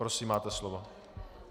Prosím, máte slovo.